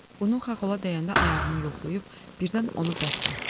Bunu Xaxola deyəndə ayağımı yoxlayıb birdən onu bərk dartdı.